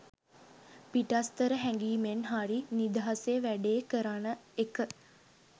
පිටස්තර හැඟීමෙන් හරි නිදහසේ වැඩේ කරන එක